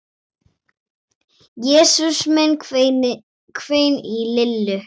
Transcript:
Jesús minn hvein í Lillu.